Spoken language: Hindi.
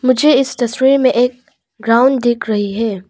मुझे इस तस्वीर में एक ग्राउंड दिख रही है।